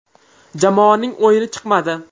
Jamoaning o‘yini chiqmadi.